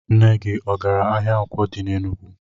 Nne gi agara ahia Nkwo di n'Enugwu?